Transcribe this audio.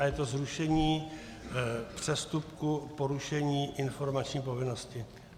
A je to zrušení přestupku porušení informační povinnosti.